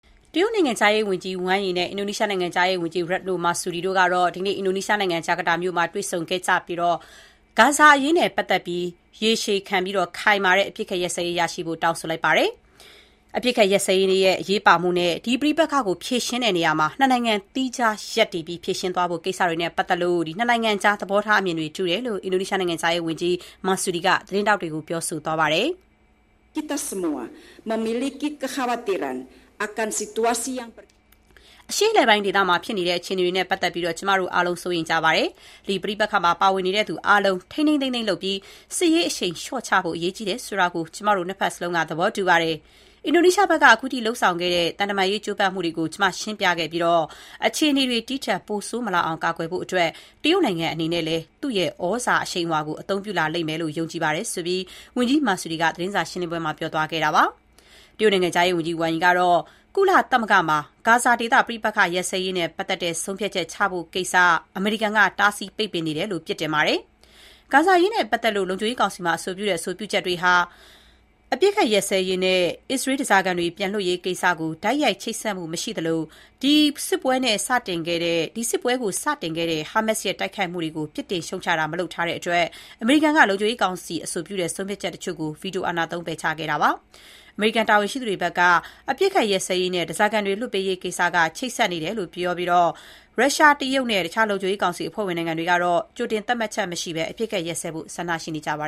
တရုတ်နိုင်ငံခြားရေးဝန်ကြီး ဝမ်ရီ နဲ့ အင်ဒိုနီးရှားနိုင်ငံခြားရေးဝန်ကြီး Retno Marsudi တို့ဟာ အင်ဒိုနီးရှားနိုင်ငံ ဂျကာတာမြို့တော်မှာ ဒီနေ့ တွေ့ဆုံခဲ့ကြပြီးတော့၊ ဂါဇာဒေသမှာ ရေရှည်ခံတဲ့အပစ်အခတ်ရပ်စဲရေး ချက်ချင်းလုပ်ဆောင်ကြဖို့ တောင်းဆိုလိုက်ပါတယ်။ အပစ်အခတ်ရပ်စဲရေးရဲ့ အရေးပါမှု နဲ့ ဒီပဋိပက္ခကို ဖြေရှင်းတဲ့နေရာမှာ ၂ နိုင်ငံသီးခြားရပ်တည်ပြီးဖြေရှင်းသွားဖို့ကိစ္စတွေနဲ့ ပတ်သက်ပြီး ၂ နိုင်ငံကြားသဘောထားအမြင်တွေတူတယ်လို့ အင်ဒိုနီးရှားနိုင်ငံခြားရေးဝန်ကြီး Retno Marsudi က သတင်းထောက်တွေကိုပြောပါတယ်။ “အရှေ့အလယ်ပိုင်းဒေသမှာဖြစ်နေတဲ့ အခြေအနေတွေနဲ့ ပတ်သက်ပြီး ကျမတို့ အားလုံး စိုးရိမ်နေကြပါတယ်။ ဒီပဋိပက္ခမှာပါဝင်နေတဲ့သူတွေအားလုံး ထိန်းထိန်းသိမ်းသိမ်းလုပ်ပြီး စစ်ရေးအရှိန်လျှော့ချဖို့ အရေးကြီးတယ်ဆိုတာကို ကျမတို့ ၂ ဘက်စလုံးက သဘောတူကြပါတယ်။ အင်ဒိုနီးရှားဘက်က အခုထိလုပ်ဆောင်ခဲ့တဲ့ သံတမန်ရေးကျိုးပမ်းမှုတွေကို ကျမရှင်းပြခဲ့ပြီး၊ အခြေအနေတွေ ဒီထက်ပိုဆိုးမလာအောင် ကာကွယ်ဖို့အတွက် တရုတ်နိုင်ငံအနေနဲ့လည်း သူ့ရဲ့ သြဇာအရှိန်အဝါကို အသုံးပြုလာလိမ့်မယ်လို့ ကျမယုံကြည်တယ်လို့” ဝန်ကြီး Marsudi က ပြောပါတယ်။ တရုတ်နိုင်ငံခြားရေးဝန်ကြီး ဝမ်ရီကတော့ ကုလသမဂ္ဂမှာ ဂါဇာဒေသအပစ်အခတ်ရပ်စဲရေးနဲ့ ပတ်သက်တဲ့ ဆုံးဖြတ်ချက်ချဖို့ကိစ္စကို တားဆီးပိတ်ပင်နေတာနဲ့ ပတ်သက်ပြီး အမေရိကန်ပြည်ထောင်စုကို ပြစ်တင်လိုက်ပါတယ်။ ဂါဇာအရေးနဲ့ပတ်သက်ပြီး လုံခြုံရေးကောင်စီရဲ့ အဆိုပြုတဲ့ဆုံးဖြတ်ချက်တွေဟာ အပစ်အခတ်ရပ်စဲရေး နဲ့ အစ္စရေးဓါးစားခံတွေ ပြန်လွှတ်ပေးရေးကိစ္စကို တိုက်ရိုက်ချိတ်ဆက်မှုမရှိသလို၊ ဒီစစ်ပွဲကို စတင်ခဲ့တဲ့ ဟာမတ်စ် ရဲ့တိုက်ခိုက်မှုကို ပြစ်တင်ရှုတ်ချတာ မလုပ်ထားတဲ့အတွက် အမေရိကန်က လုံခြုံရေးကောင်စီအဆိုပြုတဲ့ဆုံးဖြတ်ချက်တချို့ကို ဗီတိုသုံး ပယ်ချခဲ့ပါတယ်။ အမေရိကန်တာဝန်ရှိသူတွေဘက်က အပစ်အခတ်ရပ်စဲရေး နဲ့ ဓါးစားခံတွေလွှတ်ပေးရေးကိစ္စက ချိတ်ဆက်နေတယ်လို့ ပြောပြီး ရုရှား၊ တရုတ်နဲ့ တခြားလုံခြုံရေးကောင်စီအဖွဲ့ဝင်နိုင်ငံတွေကတော့ ကြိုတင်သတ်မှတ်ချက်မရှိဘဲ အပစ်အခတ်ရပ်စဲဖို့ ဆန္ဒရှိနေကြပါ